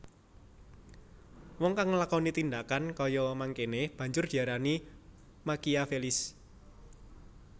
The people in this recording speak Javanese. Wong kang nglakoni tindhakan kaya mangkéné banjur diarani Makiavelis